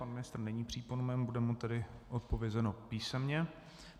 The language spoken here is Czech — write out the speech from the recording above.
Pan ministr není přítomen, bude mu tedy odpovězeno písemně.